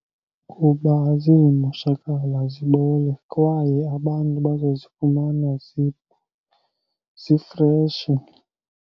Kuba azizumoshakala zibole kwaye abantu bazozifumana zifreshi.